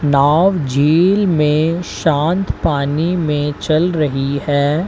नाव झील में शांत पानी में चल रही है।